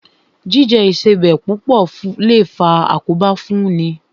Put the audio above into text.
Jíjẹ Ìṣebẹ̀ púpọ̀ lè faa àkóbá fún ni